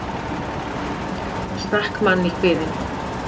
Stakk mann í kviðinn